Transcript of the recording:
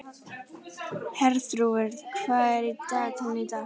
Herþrúður, hvað er í dagatalinu í dag?